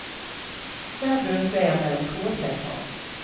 Hver bunt veier mellom to og tre tonn.